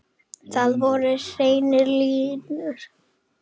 Þar voru hreinar línur.